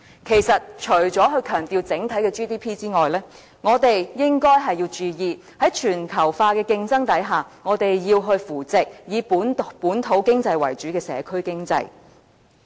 其實，除了強調整體 GDP 外，我們亦應該要注意，在全球化的競爭下，我們要扶植以本土經濟為主的社區經濟。